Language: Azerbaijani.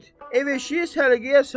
Ev-eşiyi səliqəyə sal.